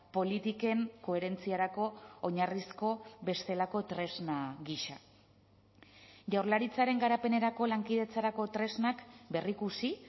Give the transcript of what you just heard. politiken koherentziarako oinarrizko bestelako tresna gisa jaurlaritzaren garapenerako lankidetzarako tresnak berrikusi